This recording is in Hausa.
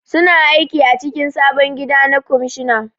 Su na aiki a cikin sabon gida na kwamishina